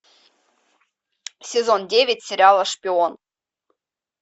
сезон девять сериала шпион